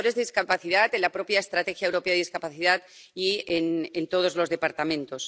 indicadores de discapacidad en la propia Estrategia Europea sobre discapacidad y en todos los departamentos.